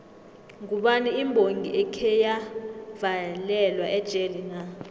ngubani imbongi ekheya valelwa ejele na